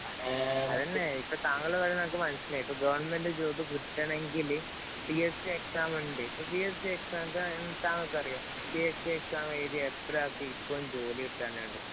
അത് തന്നെ. ഇപ്പോള്‍ താങ്കള്‍ പറയുന്നത് എനിക്ക് മനസിലായി. ഇപ്പൊ ഗവണ്മെന്‍റ് ജോബ്‌ കിട്ടണമെങ്കില് പി എസ് സി എക്സാം ഉണ്ട്. ഇപ്പൊ പി എസ് സി എക്സാമിന്‍റെ താമസം അറിയുവോ? പി എസ് സി എക്സാം എഴുതിയ എത്ര ആള്‍ക്ക് ഇപ്പോഴും ജോലി കിട്ടാനുണ്ട്.